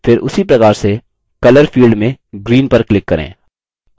फिर उसी प्रकार से color field में green पर click करें